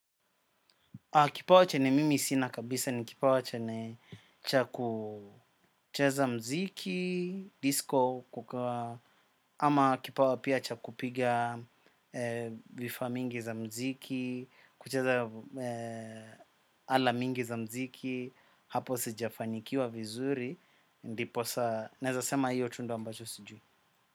Kipawa chene mimi sina kabisa ni kipawa chene chakucheza mziki, disco kukawa ama kipawa pia chakupiga vifa mingi za mziki, kucheza ala mingi za mziki. Hapo sijafanikiwa vizuri, ndiposa, nezasema hiyo tu ndo ambacho sijui.